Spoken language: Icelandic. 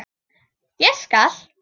Ég skal.